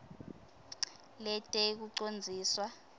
letekucondziswa